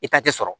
I ta tɛ sɔrɔ